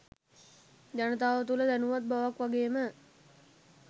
ජනතාව තුළ දැනුවත් බවක් වගේ ම